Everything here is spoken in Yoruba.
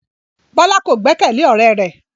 Bola ko gbẹkẹle ọrẹ rẹ